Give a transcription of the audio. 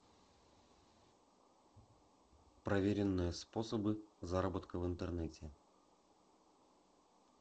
проверенные способы заработка в интернете